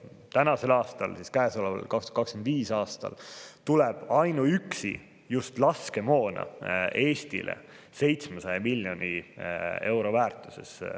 Käesoleval, 2025. aastal tuleb ainuüksi laskemoona Eestisse 700 miljoni euro väärtuses.